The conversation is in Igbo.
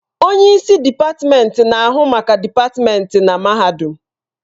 Onye isi dịpatmenti na-ahụ maka dịpatmenti na mahadum.